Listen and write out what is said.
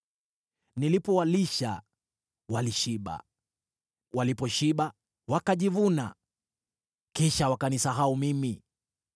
Nilipowalisha, walishiba, waliposhiba, wakajivuna, kisha wakanisahau mimi.